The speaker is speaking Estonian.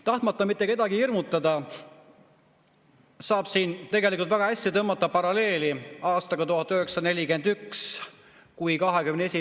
Tahtmata mitte kedagi hirmutada, saab siin tegelikult väga hästi tõmmata paralleeli aastaga 1941, kui 21.